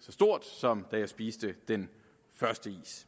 så stort som da jeg spiste den første is